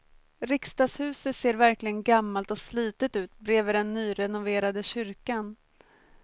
Riksdagshuset ser verkligen gammalt och slitet ut bredvid den nyrenoverade kyrkan.